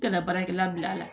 Tɛna baarakɛla bil'a la